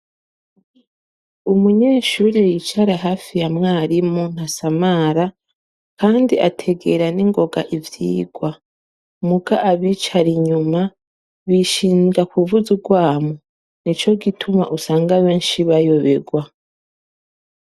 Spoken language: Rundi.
Umunyeshuri yicara hafi ya mwarimu nta samara kandi ategera n'ingoga ivyigwa muga abicara inyuma bishindwa kuvuza urwamu ni co gituma usanga benshi bayuberwa.